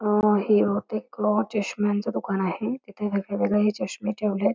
हे बहुतेक चष्म्यांच दुकान आहे इथे वेगवेगळे हे चष्मे ठेवलेत.